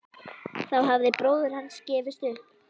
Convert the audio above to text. Þá hafði bróðir hans gefist upp.